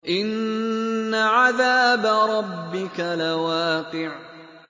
إِنَّ عَذَابَ رَبِّكَ لَوَاقِعٌ